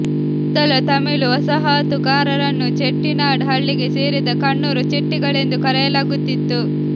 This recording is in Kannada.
ಮೊದಲ ತಮಿಳು ವಸಾಹತುಗಾರರನ್ನು ಚೆಟ್ಟಿನಾಡ್ ಹಳ್ಳಿಗೆ ಸೇರಿದ ಕಣ್ಣೂರು ಚೆಟ್ಟಿಗಳೆಂದು ಕರೆಯಲಾಗುತ್ತಿತ್ತು